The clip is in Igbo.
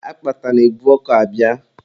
Akpata na-ebu ọkọ abịa.